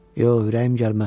Yox, ürəyim gəlməz.